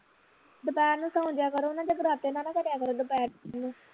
ਦੁਪਹਿਰ ਨੂੰ ਸੌ ਜਾਇਆ ਕਰੋ ਨਾ ਜਗਰਾਤੇ ਨਾ ਨਾ ਕਰਿਆ ਕਰੋ ਦੁਪਹਿਰ ਨੂੰ